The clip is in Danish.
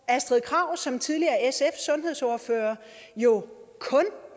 astrid krag som tidligere sf sundhedsordfører jo kun